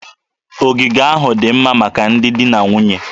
Ogige ahụ dị mma maka ndị di na nwunye